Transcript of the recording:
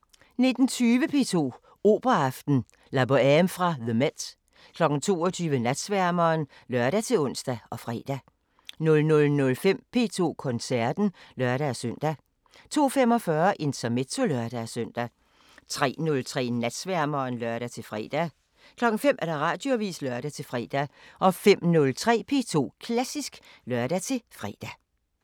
19:20: P2 Operaaften: La Boheme fra The MET 22:00: Natsværmeren (lør-ons og fre) 00:05: P2 Koncerten (lør-søn) 02:45: Intermezzo (lør-søn) 03:03: Natsværmeren (lør-fre) 05:00: Radioavisen (lør-fre) 05:03: P2 Klassisk (lør-fre)